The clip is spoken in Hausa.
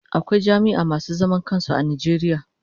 Akwai jami'a masu zaman kansu a Najeriya.